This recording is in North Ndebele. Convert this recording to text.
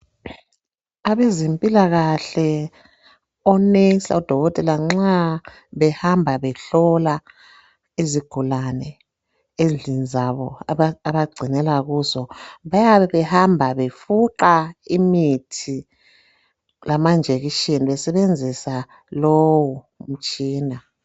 Abezempilakahle onesi lodokotela nxa behamba behlola izigulane endlini zabo abagcinela kuzo .Bayabe behamba befuqa imithi lamanjekishini besebenzisa lowu umtshina .